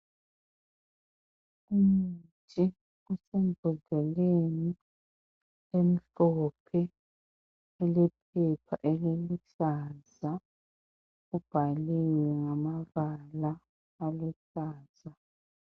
Umuthi osembodleleni emhlophe ulephepha eliluhlaza. Ubhaliwe ngamabala aluhlaza.